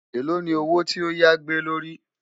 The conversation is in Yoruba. èlò ní owó tí ọ yá gbé ló rí